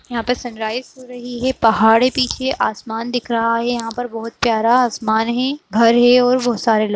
यहाँ पे सनराइज हो रही है पहाड़ है पीछे आसमान दिख रहा है। यहाँ पर बहुत प्यारा आसमान है घर है और बोहोत सारे लोग --